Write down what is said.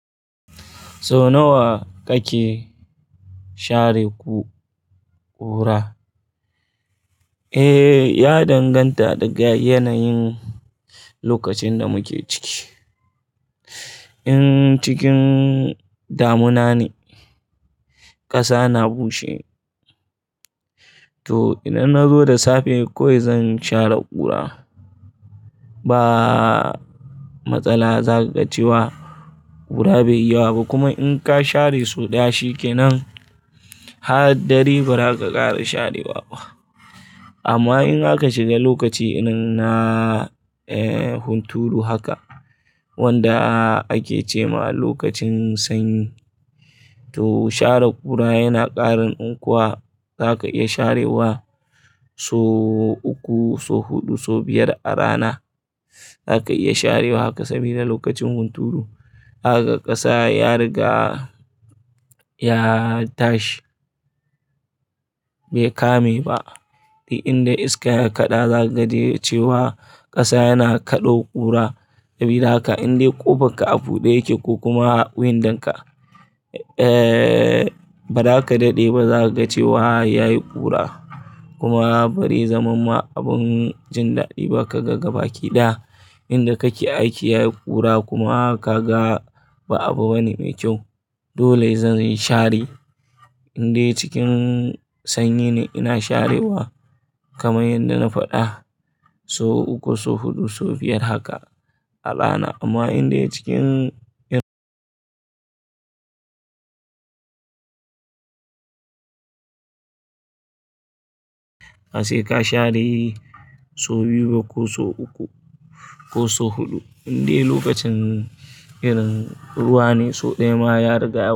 Sau nawa kake share ƙura? Eh, ya danganta da ga yanayin lokacin da muke ciki. In cikin damuna ne, ƙasa na bushe, to idan na zo da safe kawai zan share ƙura. Ba matsala zakaga cewa kura baiyi yawa ba kuma in ka share so daya shikenan har dare bazaka sake sharewa ba amman in akaq shiga lokaci irin na hunturu haka wanda ake cema lokacin sanyi toh share kura yana kara nunkuwa. Za ka iya sharewa sau uku, sau huɗu, sau biyar a rana. Za ka iya sharewa haka saboda lokacin hunturu, zakaga ƙasa ya riga ya tashi bai kame ba. Indai iska ya kaɗa za ka ga cewa ƙasa yana kaɗo ƙura. Sabida haka inda ƙofar ka a buɗe yake ko kuma window ka, eh, ba za ka daɗe ba za ka ga cewa ya yi ƙura. Kuma bazai zaman ma abin jin daɗi ba ka ga gaba kiɗa. Inda kake aiki yayi kura kuma kaga ba abu bane mai kyau. Dole zan share indai cikin sanyi ne ina sharewa kamar yadda na faɗa sau uku, sau huɗu, sau biyar haka a rana. Amma indai cikin inuwa ne sai ka share sau biyu ko sau uku ko sau huɗu, indai lokacin nan ne irin ruwa ne sau ɗaya ma ya riga ya.